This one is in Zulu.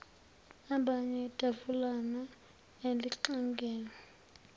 abane itafulana elixegelwa